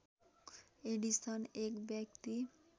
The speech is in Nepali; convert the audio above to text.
एडिसन एक व्यक्ति